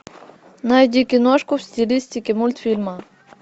найди киношку в стилистике мультфильма